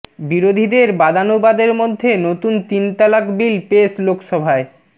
বিরোধীদের বাদানুবাদের মধ্যে নতুন তিন তালাক বিল পেশ লোকসভায়